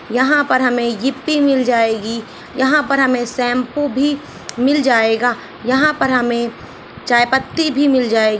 यहाँ पे हमे ईपपी मिल जाएगी यहाँ पर हमे शैम्पू भी मिल जायेगा यहाँ पर हमे चाय पत्ती भी मिल जाए |